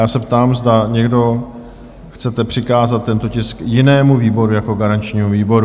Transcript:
Já se ptám, zda někdo chcete přikázat tento tisk jinému výboru jako garančnímu výboru?